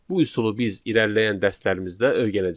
Bu üsulu biz irəliləyən dərslərimizdə öyrənəcəyik.